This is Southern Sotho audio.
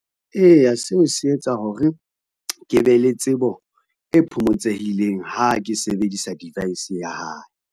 Eya seo se etsa hore, ke be le tsebo e phomotsehileng ha ke sebedisa device ya hae.